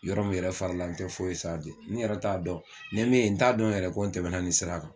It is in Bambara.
Yɔrɔ min yɛrɛ farala n tɛ foyi ne yɛrɛ t'a dɔn nin ye min ye n t'a dɔn yɛrɛ ko n tɛmɛna nin sira kan.